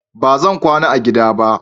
Ba zan kwana a gida ba.